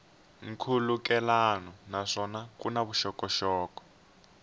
nkhulukelano naswona ku na vuxokoxoko